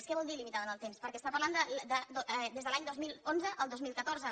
què vol dir limitada en el temps perquè està parlant de des de l’any dos mil onze al dos mil catorze